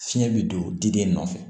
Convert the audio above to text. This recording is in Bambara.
Fiɲɛ be don diden nɔfɛ